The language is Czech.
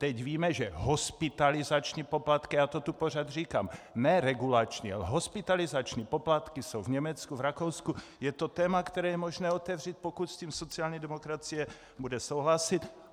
Teď víme, že hospitalizační poplatky, já to tu pořád říkám, ne regulační, ale hospitalizační poplatky jsou v Německu, v Rakousku, je to téma, které je možné otevřít, pokud s tím sociální demokracie bude souhlasit.